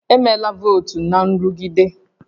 Emela votu na nrụgide